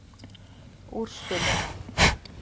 Úrsúla